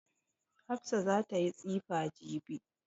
Hafsa za ta yi tsifa jibi.